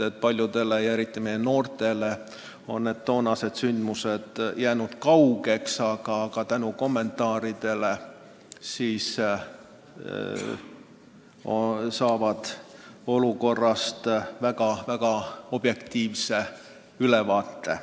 Paljudele meist ja eriti Eesti noortele on toonased sündmused kauged, aga tänu kommentaaridele saab olukorrast väga objektiivse ülevaate.